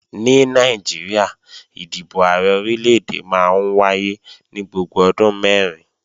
Ní Nàìjíríà, ìdìbò Ààrẹ Orílè-èdè máa ń wáyé ní gbogbo ọdún mẹ́rin